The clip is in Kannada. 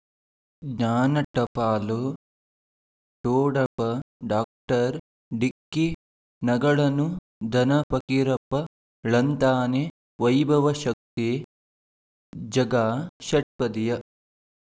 ಜ್ಞಾನ ಟಪಾಲು ಠೊಡಪ ಡಾಕ್ಟರ್ ಢಿಕ್ಕಿ ಣಗಳನು ಧನ ಫಕೀರಪ್ಪ ಳಂತಾನೆ ವೈಭವ್ ಶಕ್ತಿ ಝಗಾ ಷಟ್ಪದಿಯ